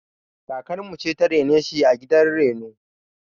Kakar mu ce ta rene shi a gidan reno.